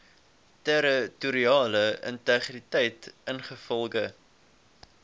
territoriale integriteit ingevolge